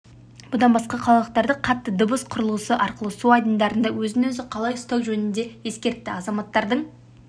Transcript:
бұдан басқа қалалықтарды қатты дыбыс құрылғысы арқылы су айдындарында өзін-өзі қалай ұстау жөнінде ескертті азаматтардың